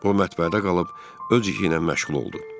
O mətbəədə qalıb öz işi ilə məşğul oldu.